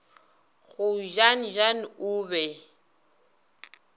go jan jan o be